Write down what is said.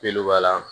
Illluba la